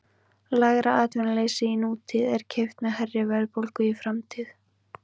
Lægra atvinnuleysi í nútíð er keypt með hærri verðbólgu í framtíð.